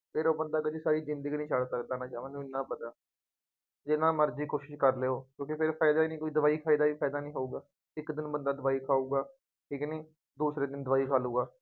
ਫੇਰ ਉਹ ਬੰਦਾ ਕਦੀ ਸਾਰੀ ਜ਼ਿੰਦਗੀ ਨਹੀਂ ਛੱਡ ਸਕਦਾ ਨਸ਼ਾ ਮੈਂਨੂੰ ਐਨਾ ਪਤਾ ਜਿੰਨਾ ਮਰਜ਼ੀ ਕੋਸ਼ਿਸ਼ ਕਰ ਲਉ, ਕਿਉਂਕਿ ਫੇਰ ਫਾਇਦਾ ਨਹੀਂ ਕੋਈ, ਦਵਾਈ ਖਾਈ ਦਾ ਵੀ ਫਾਇਦਾ ਨਹੀਂ ਹੋਊਗਾ, ਇੱਕ ਦਿਨ ਬੰਦਾ ਦਵਾਈ ਖਾਊ